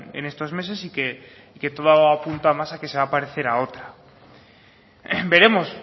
en estos meses y que todo apunta más a que se va a parecer a otra veremos